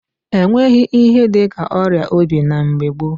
E nweghị ihe dị ka ọrịa obi na mgbe gboo.